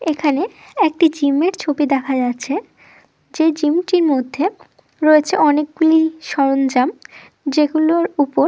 এখানে একটি জিমের ছবি দেখা যাচ্ছে। যে জিম টি মধ্যে রয়েছে অনেকগুলি সরঞ্জাম যেগুলোর উপর--